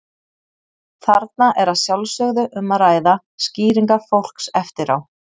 Þarna er að sjálfsögðu um að ræða skýringar fólks eftir á.